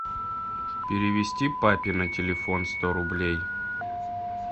перевести папе на телефон сто рублей